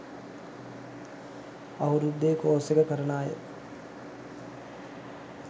අවුරුද්දෙ කෝස් එක කරන අය